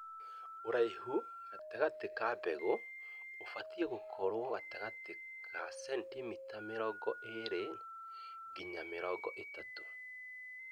ũraihu gatagatĩ ka mbegũ ũbatie gũkorwo gatagatĩ ga centimita mĩrongo ĩrĩ nginya mĩrongo ĩtatũ.